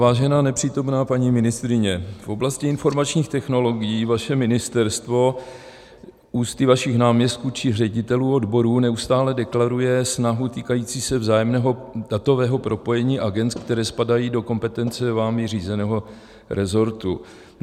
Vážená nepřítomná paní ministryně, v oblasti informačních technologií vaše ministerstvo ústy vašich náměstků či ředitelů odborů neustále deklaruje snahu týkající se vzájemného datového propojení agend, které spadají do kompetence vámi řízeného rezortu.